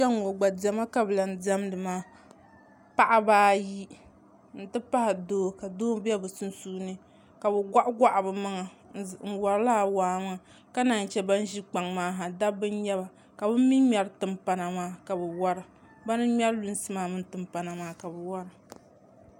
kpe ŋ-ŋɔ gba diɛma ka lahi diɛmdi maa paɣiba ayi nti pahi doo ka doo be bɛ sunsuuni ka bɛ gɔɣigɔɣi bɛ maŋa n-wari lala waa maa ka naan yi che ban ʒi kpaŋa maa ha dabba n-nyɛ ba ka bɛ mi ŋmɛri timpana maa ka bɛ wara bana n-ŋmɛri lunsi maa mini timpana maa ka bɛ wara